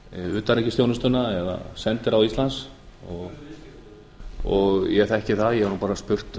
utanríkisþjónustuna eða sendiráð íslands ég þekki það ég hef bara spurt